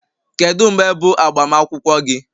Kedu mgbe bụ agbamakwụkwọ gị?